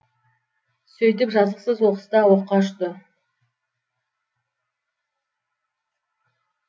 сөйтіп жазықсыз оқыста оққа ұшты